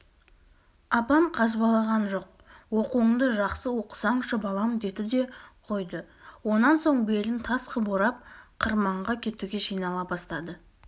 апам қазбалаған жоқ оқуыңды жақсы оқысаңшы балам деді де қойды онан соң белін тас қып орап қырманға кетуге жинала бастады